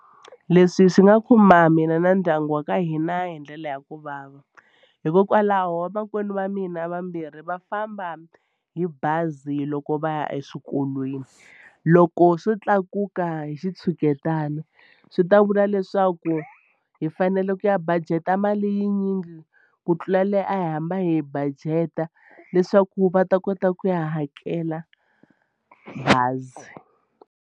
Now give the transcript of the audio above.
Leswi swi nga khumba mina na ndyangu wa ka hina hi ndlela ya ku vava hikokwalaho vamakwenu va mina vambirhi va famba hi bazi loko va ya eswikolweni loko swo tlakuka hi xi tshuketana swi ta vula leswaku hi fanele ku ya budget-a mali yi nyingi ku tlula leyi a hi hamba hi yi budget-a leswaku va ta kota ku ya hakela bazi.